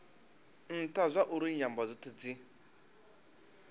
ntha zwauri nyambo dzothe dzi